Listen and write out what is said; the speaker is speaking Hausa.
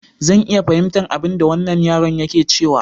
Zan iya fahimtar abinda wannan yaron yake cewa.